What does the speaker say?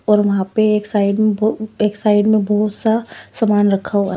और वहां पे एक साइड में बहु एक साइड में बहुत सा सामान रखा हुआ--